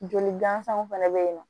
Joli gansanw fɛnɛ be yen nɔ